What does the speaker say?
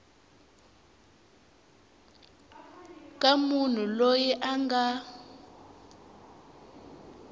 ka munhu loyi a nga